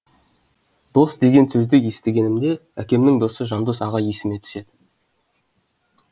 дос деген сөзді естігенімде әкемнің досы жандос аға есіме түсті